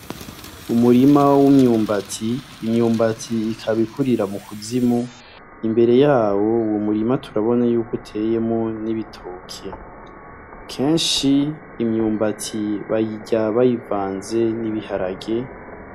Umurima w'imyumbati , imyumbati ikaba ikurira mu kuzimu imbere yawo uwo murima turabonako uteyemwo ibitoke , kenshi imyumbati bayirya bayivanze n'ibiharage,